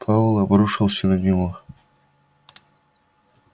пауэлл обрушился на него